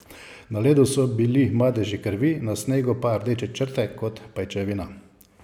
Na ledu so bili madeži krvi, na snegu pa rdeče črte, kot pajčevina.